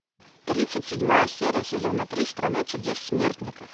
тридцать седьмая серия сезона три страна чудес смертников